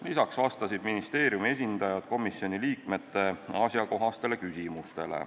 Lisaks vastasid ministeeriumi esindajad komisjoni liikmete asjakohastele küsimustele.